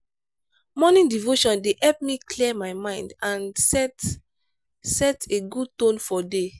morning devotion dey help me clear my mind and set set a good tone for day.